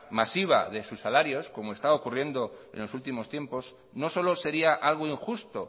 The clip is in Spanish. masiva de su salarios como está ocurriendo en los últimos tiempos no solo sería algo injusto